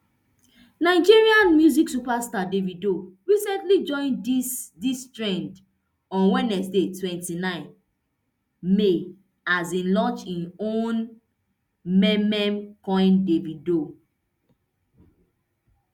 nigerian music superstar davido recently join dis dis trend on wednesday twenty-nine may as e launch im own meme coin davido